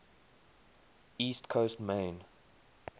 east coast maine